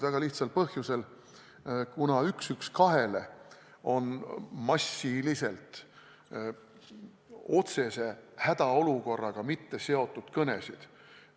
Väga lihtsal põhjusel: kuna 112-le on massiliselt tehtud otsese hädaolukorraga mitte seotud kõnesid.